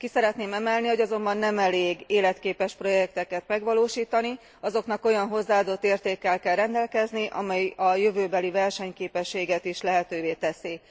Ki szeretném emelni, hogy azonban nem elég életképes projekteket megvalósítani, azoknak olyan hozzáadott értékkel kell rendelkezni, amely a jövőbeli versenyképességet is lehetővé teszik.